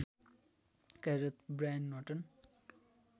कार्यरत ब्रायन हटन